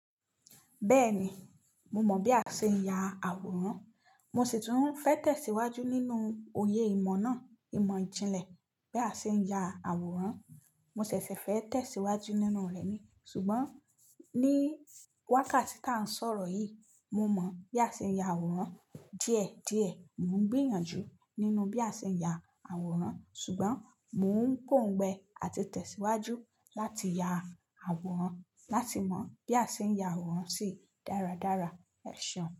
Bẹ́ẹ̀ni, mo mọ̀ bí a ṣe ń ya àwòrán, mo ṣì tún fẹ́ tẹ̀síwájú nínú òye ìmọ̀ náà. Ìmọ̀ ìjìnlẹ̀ bí a ṣe ń ya àwòrán, mọ ṣẹ̀ṣẹ̀ fẹ́ tẹ̀síwájú nínú rẹ̀ ni. Ṣùgbọ́n ní wákàtí tí à ń sọ̀rọ̀ yìí, mo mọ bí a ṣe ń ya àwòrán díẹ̀ díẹ̀. Mò ń gbìyànjú nínú bí a ṣe ń ya àwòrán, ṣùgbọ́n mò ń pòǹgbẹ́ àti tẹ̀síwájú láti ya àwòrán, láti mọ bí a ṣe ń ya àwòrán sì dáradára. Ẹ̀ ṣeun.